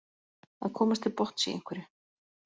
Að komast til botns í einhverju